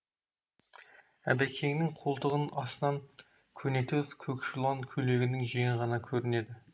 әбекеңнің қолтығының астынан көнетоз көкшулан көйлегінің жеңі ғана көрінеді